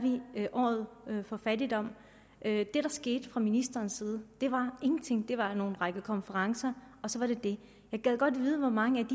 vi året for fattigdom det der skete fra ministerens side var ingenting det var en række konferencer og så var det det jeg gad godt vide hvor mange